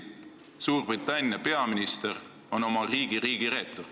Suurbritannia on üks meie suurimaid liitlasi.